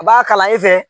A b'a kala e fɛ